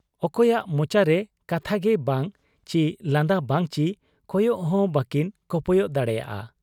ᱚᱠᱚᱭᱟᱜ ᱢᱚᱪᱟᱨᱮ ᱠᱟᱛᱷᱟᱜᱮ ᱵᱟᱝ ᱪᱤ ᱞᱟᱸᱫᱟ ᱵᱟᱝ ᱪᱤ ᱠᱚᱭᱚᱜ ᱦᱚᱸ ᱵᱟᱠᱤᱱ ᱠᱚᱯᱚᱭᱚᱜ ᱫᱟᱲᱮᱭᱟᱫ ᱟ ᱾